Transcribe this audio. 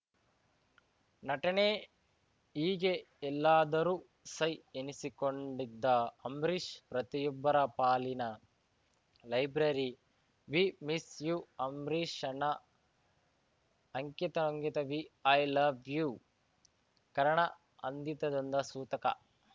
ನಟನೆ ಹೀಗೆ ಎಲ್ಲದರೂ ಸೈ ಎನಿಸಿಕೊಂಡಿದ್ದ ಅಂಬರೀಷ್‌ ಪ್ರತಿಯೊಬ್ಬರ ಪಾಲಿನ ಲೈಬ್ರರಿ ವಿ ಮಿಸ್‌ ಯೂ ಅಂಬರೀಷಣ್ಣ ಅಂಕಿತಅಂಕಿತ ವಿ ಲವ್‌ ಯೂ ಕರ್ಣ ಅಂದಿತದಂದ ಸೂತಕ